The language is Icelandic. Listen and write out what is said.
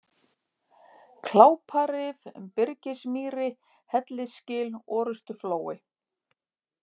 Kláparif, Byrgismýri, Hellisgil, Orustuflói